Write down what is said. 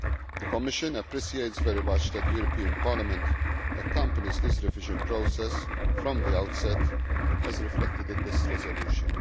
The Commission appreciates very much that the European Parliament is following this revision process from the outset, as reflected in this resolution.